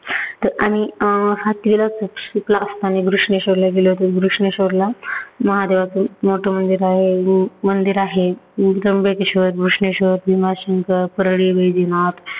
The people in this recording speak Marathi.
तर आम्ही अं आठवीला असताना घृष्णेश्वरला गेलो होतो. घृष्णेश्वरला महादेवाचं मोठ मंदिर आहे अं मंदिर आहे. त्र्यंबकेश्वर, घृष्णेश्वर, भीमाशंकर, परली वैद्यनाथ,